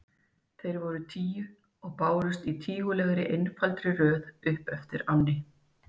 Þeir voru tíu og bárust í tígulegri, einfaldri röð upp eftir ánni.